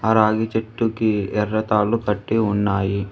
ఆ రాగి చెట్టుకి ఎర్ర తాళ్లు కట్టి ఉన్నాయి.